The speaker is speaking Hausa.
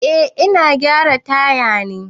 Eh ina gyara taya ne.